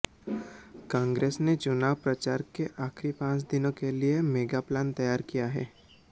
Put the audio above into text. कांग्रेस ने चुनाव प्रचार के आखिरी पांच दिनों के लिए मेगा प्लान तैयार किया है